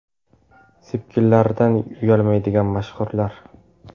Sepkillaridan uyalmaydigan mashhurlar .